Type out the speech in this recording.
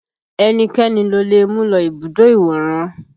Ẹnikẹ́ni lo lè mú lọ ibùdó ìwòran